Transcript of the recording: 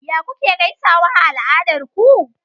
Yaya kuka gaisa a al'adarku?